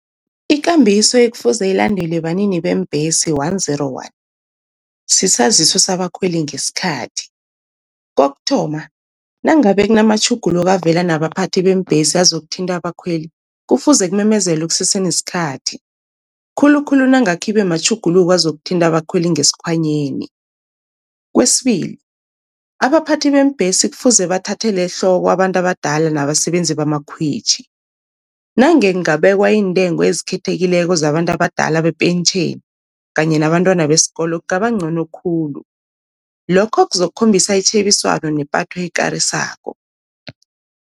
Ikambiso ekufuze ilandelwe banini beembhesi one zero one, sisaziso sabakhweli ngesikhathi. Kokuthoma nangabe kunamatjhuguluko avela nabaphathi beembhesi azokuthinta abakhweli, kufuze kumemezelwe kusese nesikhathi khulukhulu nange khibe matjhuguluko azokuthinta abakhweli ngesikhwanyeni. Kwesibili abaphathi beembhesi kufuze bathathele ehloko abantu abadala nabasebenzi bamakhwitjhi. Nange kungabekwa iintengo ezikhethekileko zabantu abadala bepentjheni kanye nabantwana besikolo kungaba ncono khulu lokho kuzokhombisa itjhebiswano nepatho ekarisako.